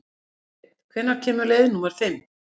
Steinn, hvenær kemur leið númer fimm?